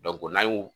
n'an y'o